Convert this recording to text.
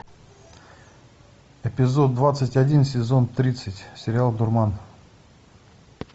эпизод двадцать один сезон тридцать сериал дурман